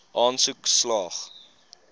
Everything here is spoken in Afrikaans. aansoek slaag